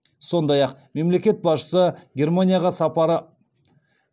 сондай ақ мемлекет басшысы германияға сапары